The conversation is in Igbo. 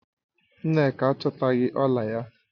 Nneka achotaghi ọla ya